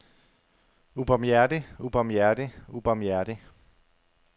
ubarmhjertig ubarmhjertig ubarmhjertig